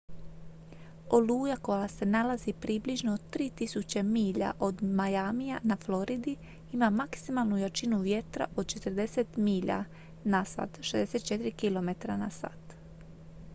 oluja koja se nalazi približno 3.000 milja od miamija na floridi ima maksimalnu jačinu vjetra od 40 milja/h 64 km/h